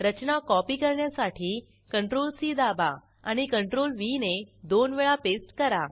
रचना copy करण्यासाठी CTRLC दाबा आणि CTRLV ने दोन वेळा पेस्ट करा